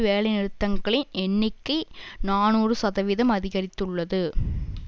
வேலைநிறுத்தங்களின் எண்ணிக்கை நாநூறு சதவீதம் அதிகரித்துள்ளது